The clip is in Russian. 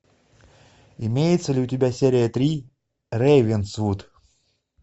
имеется ли у тебя серия три рейвенсвуд